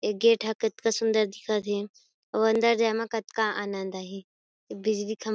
एक गेट हे कतका सूंदर दिखत हे अउ अंदर जाए म कतका आनंद आहि बिजली खम्भा --